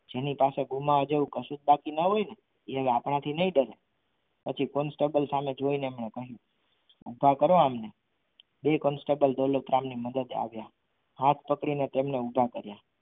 જેની પાસે ગુમાવવા જેવું કશું જ બાકી ના હોય ને એ હવે આપણાથી નહીં ડરે પછી constable સામે જોઈને કહ્યું કૃપા કરો આમ બે constable દોલતરામ ની મદદથી આવ્યા. હાથ પકડીને તેમણ ઉભા કર્યા.